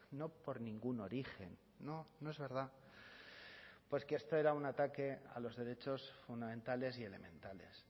no por ningún origen no no es verdad pues que esto era un ataque a los derechos fundamentales y elementales